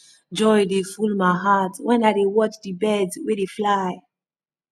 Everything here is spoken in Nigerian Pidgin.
joy dey full my heart wen i dey watch di birds wey dey fly